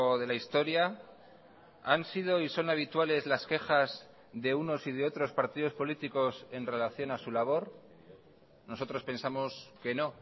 de la historia han sido y son habituales las quejas de unos y de otros partidos políticos en relación a su labor nosotros pensamos que no